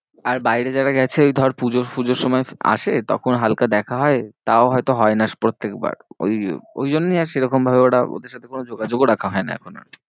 আর বাইরে যারা গেছে ওই ধর পুজোর ফুজোর সময় আসে তখন হালকা দেখা হয়। তাও হয়তো হয় না প্রত্যেক বার। ওই ওই জন্যই আর সেরকম ভাবে ওরা ওদের সাথে কোনো যোগাযোগও রাখা হয় না এখন আর।